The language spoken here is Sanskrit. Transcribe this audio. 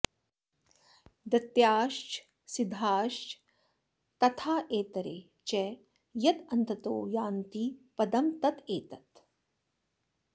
दैत्याश्च सिद्धाश्च तथेतरे च यदन्ततो यान्ति पदं तदेतत्